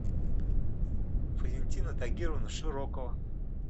валентина тагировна широкова